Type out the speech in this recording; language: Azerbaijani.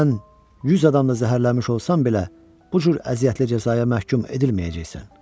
Sən 100 adamı zəhərləmiş olsan belə, bu cür əziyyətli cəzaya məhkum edilməyəcəksən.